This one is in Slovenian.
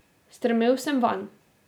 Strmel sem vanj.